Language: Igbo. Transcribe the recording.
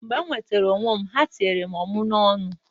Mgbe m nwetara onwe m, ha tinyere m ọmụ n'ọnụ.